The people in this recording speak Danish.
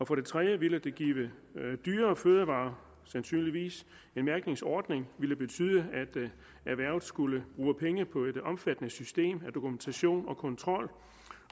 for det tredje ville det give dyrere fødevarer sandsynligvis en mærkningsordning ville betyde at erhvervet skulle bruge penge på et omfattende system af dokumentation og kontrol